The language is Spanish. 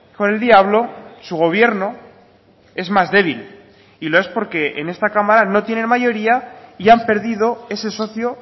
con el diablo su gobierno es más débil y lo es porque en esta cámara no tienen mayoría y han perdido ese socio